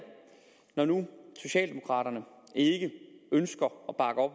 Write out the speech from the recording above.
når nu socialdemokraterne ikke ønsker